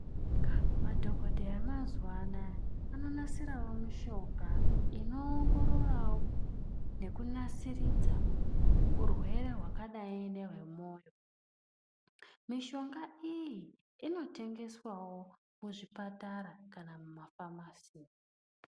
Madhokodheya emazuwa anaa anonasirawo mishonga inoongororawo nekunasiridza urwere hwakadai ngezvemoyo mishonga iyi inotengeswawo muzvipatara kana kufamasi.